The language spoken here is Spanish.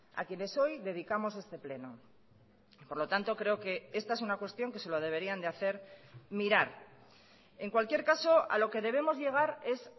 a quienes hoy dedicamos este pleno por lo tanto creo que esta es una cuestión que se lo deberían de hacer mirar en cualquier caso a lo que debemos llegar es